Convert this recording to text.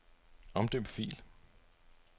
Omdøb fil.